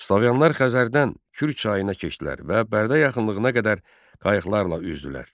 Slavyanlar Xəzərdən Kür çayına keçdilər və Bərdə yaxınlığına qədər qayıqlarla üzdülər.